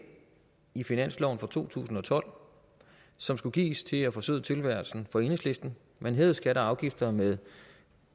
i finansloven for to tusind og tolv som skulle gives til at forsøde tilværelsen for enhedslisten man hævede skatter og afgifter med